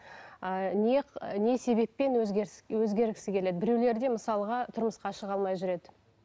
ыыы не не себеппен өзгеріс өзгергісі келеді біреулерде мысалға тұрмысқа шыға алмай жүреді